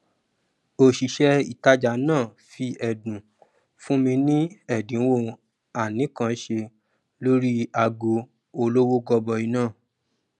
òṣìṣẹ ìtajà náà fí ẹdun fún mi ni ẹdínwó ànìkànṣe lórí ago olówó gọbọi náà